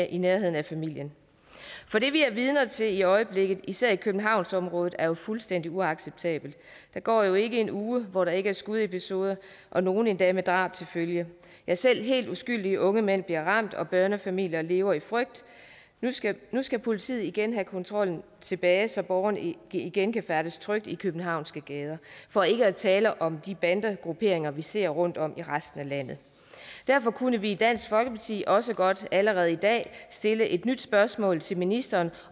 i nærheden af familien for det vi er vidner til i øjeblikket især i københavnsområdet er jo fuldstændig uacceptabelt der går jo ikke en uge hvor der ikke er skudepisoder og nogle endda med drab til følge ja selv helt uskyldige unge mænd bliver ramt og børnefamilier lever i frygt nu skal nu skal politiet igen have kontrollen tilbage så borgerne igen kan færdes trygt i de københavnske gader for ikke at tale om de bandegrupperinger vi ser rundtom i resten af landet derfor kunne vi i dansk folkeparti også godt allerede i dag stille et nyt spørgsmål til ministeren